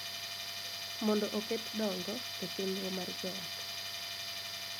Mondo oket dongo e chenro mar joot.